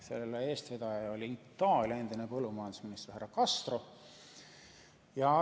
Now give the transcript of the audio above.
Selle eestvedaja oli Itaalia endine põllumajandusminister härra Castro.